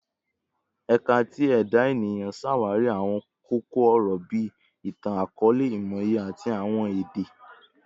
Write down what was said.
Ẹka ti Eda Eniyan ṣawari awọn koko-ọrọ bii Itan-akọọlẹ, Imọye, ati Awọn Ede